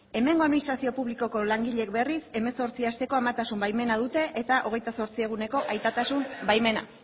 hemengo administrazio publikoko langile berriz hemezortzi asteko amatasun baimena dute eta hogeita zortzi eguneko aitatasun baimena